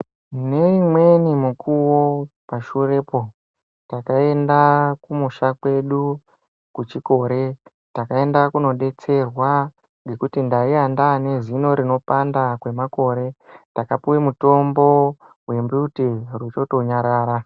Ne imweni mukuwo pashurepo taka enda kumusha kwedu ku chikore taka enda kuno detserwa ngekuti ndaiya ndane zino rino panda kwe makore ndaka piwe mutombo we mbuti rochoto nyarara.